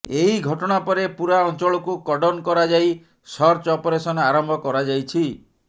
ଏହି ଘଟଣା ପରେ ପୂରା ଅଞ୍ଚଳକୁ କର୍ଡନ କରାଯାଇ ସର୍ଚ୍ଚ ଅପରେସନ ଆରମ୍ଭ କରାଯାଇଛି